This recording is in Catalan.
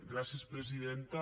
gràcies presidenta